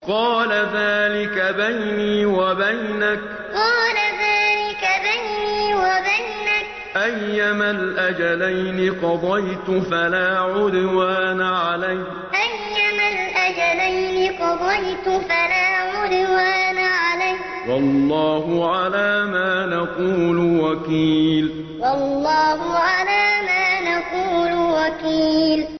قَالَ ذَٰلِكَ بَيْنِي وَبَيْنَكَ ۖ أَيَّمَا الْأَجَلَيْنِ قَضَيْتُ فَلَا عُدْوَانَ عَلَيَّ ۖ وَاللَّهُ عَلَىٰ مَا نَقُولُ وَكِيلٌ قَالَ ذَٰلِكَ بَيْنِي وَبَيْنَكَ ۖ أَيَّمَا الْأَجَلَيْنِ قَضَيْتُ فَلَا عُدْوَانَ عَلَيَّ ۖ وَاللَّهُ عَلَىٰ مَا نَقُولُ وَكِيلٌ